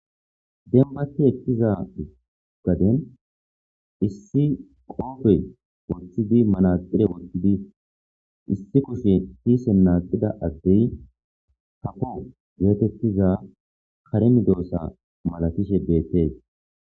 Dembati ekiza gaden issi qope wothidi manatire wothidi issi kushe kisen naqida adey kafo getetizaysi kare medosa masatishe betes